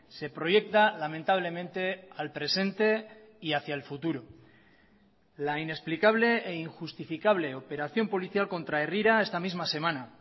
se proyecta lamentablemente al presente y hacía el futuro la inexplicable e injustificable operación policial contra herrira esta misma semana